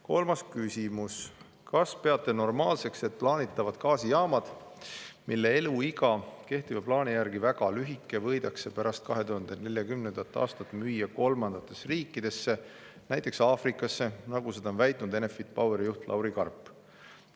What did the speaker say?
Kolmas küsimus: "Kas peate normaalseks, et plaanitavad gaasijaamad, mille eluiga kehtiva plaani järgi väga lühike, võidakse pärast 2040. aastat müüa kolmandatesse riikidesse nt Aafrikasse, nagu seda on väitnud Enefit Poweri juht Lauri Karp?